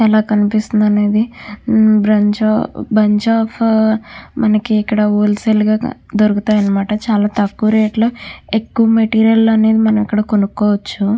ఎలా కనిపిస్తుంది అనేది బంచ్ ఆఫ్ మనకి ఇక్కడ హోల్ సెల్ గా దొరుకుతాయి అనమాట చాలా తక్కువ రేట్ లో ఎక్కువ మెటీరియల్ అనేది మనం ఇక్కడ కొనుక్కోవచ్చు.